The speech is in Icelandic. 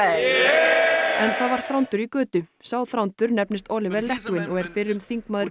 en það var Þrándur í götu sá Þrándur nefnist Oliver Letwin og er fyrrum þingmaður